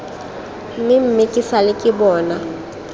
mmemme ke sale ke bona